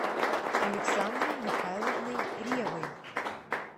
александрой михайловной ревой